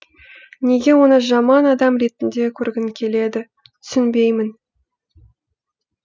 неге оны жаман адам ретінде көргің келеді түсінбеймін